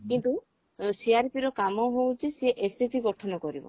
କିନ୍ତୁ CRP ର କାମ ହଉଛି ସିଏ SHG ଗଠନ କରିବ